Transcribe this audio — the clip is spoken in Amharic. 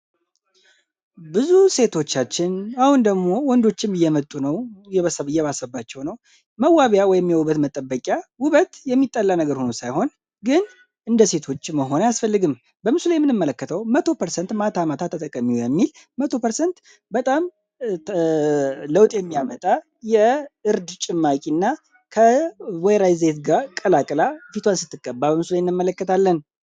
ብዙ ሴቶቻችን አሁን ደግሞ ወንዶችም የመጡ ነው እየባሰባቸው ነው መዋቢያ ወይሚ ውበት መጠበቂያ ውበት የሚጠላ ነገር ሆነው ሳይሆን ግን እንደ ሴቶች መሆን ያስፈልግም በምሱላይ የምንመለከተው 1ቶፐ ማት ዓማታ ተጠቀሚው የሚል 1ቶ% በጣም ለውጤሚ ያመጣ የእርድ ጭማቂ እና ከወይራይዜት ጋር ቀላቅላ ፊቷን ስትቀባ በምሱላይንመለከታለን